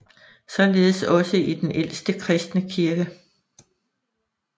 Således også i den ældste kristne kirke